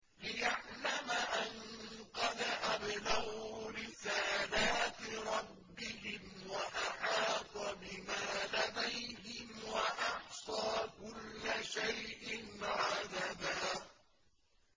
لِّيَعْلَمَ أَن قَدْ أَبْلَغُوا رِسَالَاتِ رَبِّهِمْ وَأَحَاطَ بِمَا لَدَيْهِمْ وَأَحْصَىٰ كُلَّ شَيْءٍ عَدَدًا